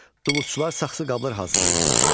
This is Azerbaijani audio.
Dulusçular saxsı qablar hazırlayırdılar.